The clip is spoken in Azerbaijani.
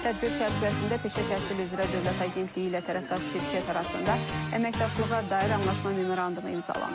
Tədbir çərçivəsində Peşə Təhsili üzrə Dövlət Agentliyi ilə tərəfdaş şirkət arasında əməkdaşlığa dair anlaşma memorandumu imzalanıb.